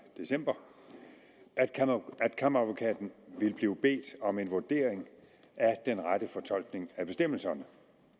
december at kammeradvokaten ville blive bedt om en vurdering af den rette fortolkning af bestemmelserne